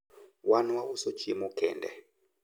wan wauso chiemo kende